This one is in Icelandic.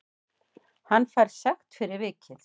Hann fær sekt fyrir vikið